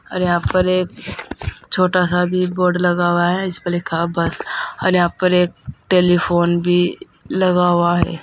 और यहां पर एक छोटा सा भी बोर्ड लगा हुआ है इस पर लिखा बस और यहां पर एक टेलीफोन भी लगा हुआ है।